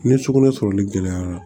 Ni sugunɛ sɔrɔli gɛlɛyara